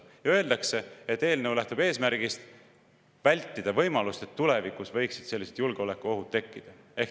Öeldakse, et eelnõu lähtub eesmärgist vältida võimalust, et tulevikus võiksid sellised julgeolekuohud tekkida.